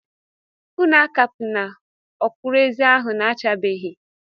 Unu akapuna ọkwụrụ-ezi ahụ. na-achabeghị!